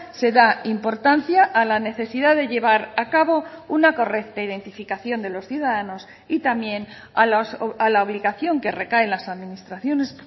se da importancia a la necesidad de llevar a cabo una correcta identificación de los ciudadanos y también a la obligación que recae en las administraciones